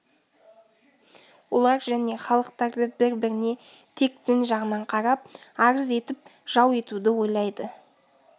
олар және халықтарды бір-біріне тек дін жағынан қарап арыз етіп жау етуді ойлайды